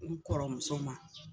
N kɔrɔmuso ma